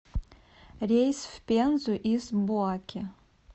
рейс в пензу из буаке